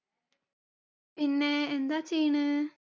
പിന്നെ, എന്താ ചെയ്യണേ?